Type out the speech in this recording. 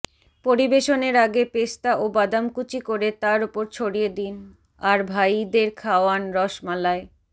পরিবেশনের আগে পেস্তা ও বাদাম কুচি করে তার ওপর ছড়িয়ে দিন আর ভাইদের খাওয়ান রসমালাই